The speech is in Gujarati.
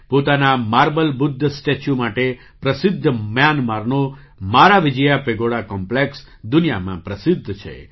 પોતાના માર્બલ બુદ્ધ સ્ટેચ્યૂ માટે પ્રસિદ્ધ મ્યાનમારનો મારાવિજયા પેગોડા કૉમ્પ્લેક્સ દુનિયામાં પ્રસિદ્ધ છે